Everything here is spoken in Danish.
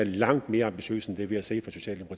langt mere ambitiøse end det vi har set